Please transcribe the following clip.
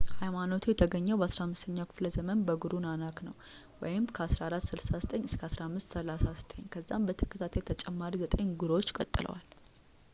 ኃይማኖቱ የተገኘው በ15ኛው ክፍለዘመን በጉሩ ናናክ ነው 1469–1539። ከዛም በተከታታይ ተጨማሪ ዘጠኝ ጉሩዎች ቀጥለዋል